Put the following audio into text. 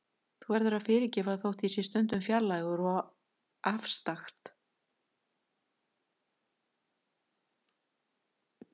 Þú verður að fyrirgefa þótt ég sé stundum fjarlægur og afstrakt.